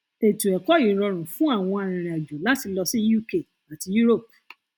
ètò ẹkọ yìí rọrùn fún àwọn arinrìnàjò láti lọ sí uk àti europe